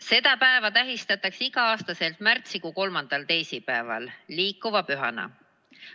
Seda päeva tähistatakse igal aastal märtsikuu kolmandal teisipäeval liikuva pühana.